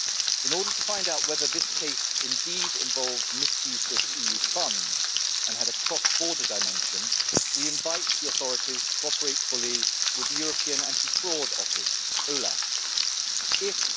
In order to find out whether this case involved misuse of EU funds and had a cross border dimension, we invite the authorities to cooperate fully with the European Anti Fraud Office If